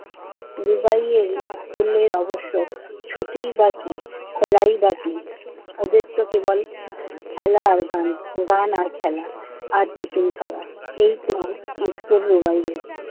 রুবাইয়ের স্কুলের অবশ্য ছুটি বা কি, খোলাই বা কি। ওদেরতো কেবল খেলা আর গান, গান আর খেলা, আর আর টিফিন খাওয়া। এইতো স্কুল রুবাইয়ের।